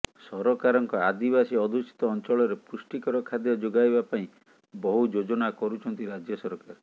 ସରକାରଙ୍କ ଆଦିବାସୀ ଅଧ୍ୟୁଷିତ ଅଞ୍ଚଳରେ ପୃଷ୍ଟିକର ଖାଦ୍ୟ ଯୋଗାଇବା ପାଇଁ ବହୁ ଯୋଜନା କରୁଛନ୍ତି ରାଜ୍ୟ ସରକାର